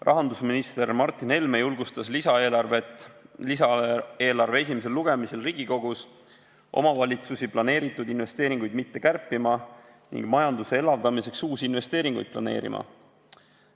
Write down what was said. Rahandusminister Martin Helme julgustas lisaeelarve esimesel lugemisel Riigikogus omavalitsusi planeeritud investeeringuid mitte kärpima ning majanduse elavdamiseks uusi investeeringuid planeerima.